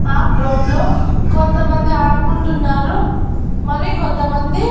ఆ గ్రౌండ్ లో కొంతమంది ఆడుకుంటూన్నారు మరి కొంతమంది--